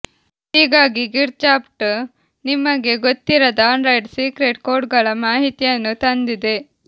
ಹೀಗಾಗಿ ಗಿಜ್ಬಾಟ್ ನಿಮಗೆ ಗೊತ್ತಿರದ ಆಂಡ್ರಾಯ್ಡ್ ಸೀಕ್ರೆಟ್ ಕೋಡ್ಗಳ ಮಾಹಿತಿಯನ್ನು ತಂದಿದೆ